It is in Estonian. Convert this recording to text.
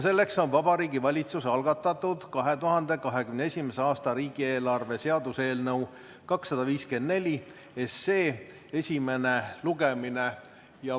See on Vabariigi Valitsuse algatatud 2021. aasta riigieelarve seaduse eelnõu 254 esimene lugemine.